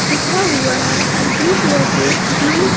लिखा हुआ हैब्लू कलर से ब्लू --